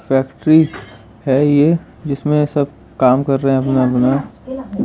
factory है ये जिसमे सब काम कर रहे हैं अपना-अपना